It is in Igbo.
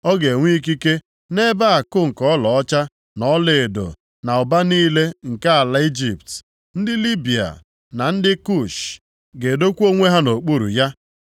Ọ ga-enwe ikike nʼebe akụ nke ọlaọcha na ọlaedo na ụba niile nke ala Ijipt. Ndị Libịa na ndị Kush + 11:43 Ya bụ, ndị Itiopia ga-edokwa onwe ha nʼokpuru ya.